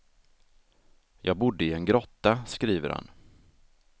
Jag bodde i en grotta, skriver han.